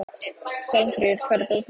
Hjálmfríður, hvar er dótið mitt?